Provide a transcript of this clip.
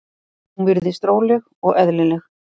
Hún virðist róleg og eðlileg.